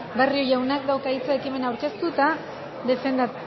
barrio jaunak dauka hitza ekimena aurkeztu eta defendatzeko